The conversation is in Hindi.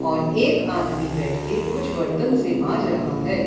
पर एक आदमी बैठके कुछ बर्तन से माँज रहा है।